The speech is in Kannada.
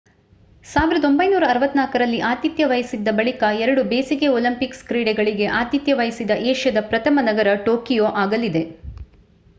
1964 ರಲ್ಲಿ ಆತಿಥ್ಯ ವಹಿಸಿದ್ದ ಬಳಿಕ ಎರಡು ಬೇಸಿಗೆ ಒಲಿಂಪಿಕ್ಸ್ ಕ್ರೀಡೆಗಳಿಗೆ ಆತಿಥ್ಯ ವಹಿಸಿದ ಏಷ್ಯಾದ ಪ್ರಥಮ ನಗರ ಟೋಕಿಯೊ ಆಗಲಿದೆ